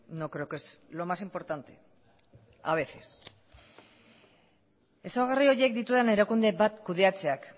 no creo que es lo más importante a veces ezaugarri horiek dituen erakunde bat kudeatzeak